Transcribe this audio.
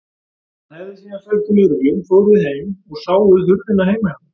Hann hefði síðan sagt við lögreglu: Fóruð þið heim og sáuð hurðina heima hjá mér?